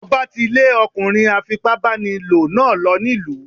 Ọba tí lè ọkùnrin afipá báni lò náà lọ nílùú.